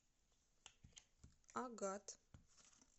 агат